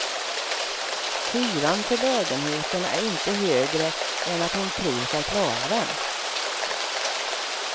Hyran för lägenheten är inte högre än att hon tror sig klara den.